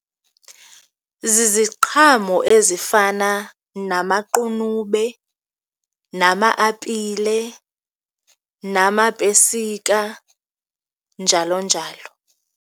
Ziziqhamo ezifana namaqunube, nama-apile, namapesika njalo njalo.